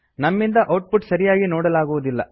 ನಮ್ಮಿಂದ output ಸರಿಯಾಗಿ ನೋಡಲಾಗುವುದಿಲ್ಲ